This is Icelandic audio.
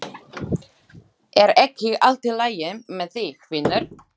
Er ekki allt í lagi með þig, vinur?